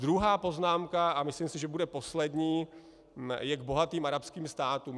Druhá poznámka, a myslím si, že bude poslední, je k bohatým arabským státům.